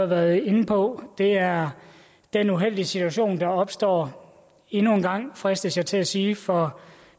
været inde på er den uheldige situation der opstår endnu en gang fristes jeg til sige for